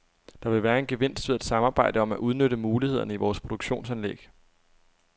Der vil være en gevinst ved at samarbejde om at udnytte mulighederne i vores produktionsanlæg.